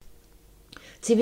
TV 2